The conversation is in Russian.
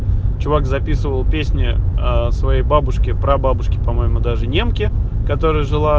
чувак записывал песня своей бабушке прабабушке по-моему даже немке которая жила